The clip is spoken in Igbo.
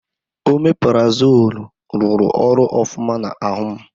Omeparazoolu rụrụ ọrụ ofụma n'ahụ m.